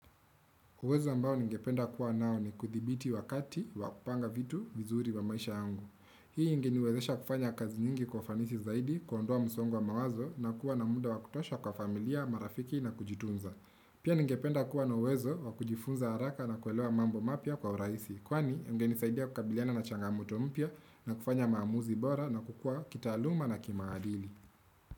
Uwezo ambao ningependa kuwa nao ni kuthibiti wakati wakupanga vitu vizuri wa maisha yangu. Hii nginiwezesha kufanya kazi nyingi kufanisi zaidi kundoa msongo mawazo na kuwa na munda wakutosha kwa familia, marafiki na kujitunza. Pia ningependa kuwa na uwezo wakujifunza haraka na kuweloa mambo mapia kwa uraisi. Kwani ngini saidia kukabiliana na changamuto mpia na kufanya maamuzi bora na kukua kita aluma na kimaadili.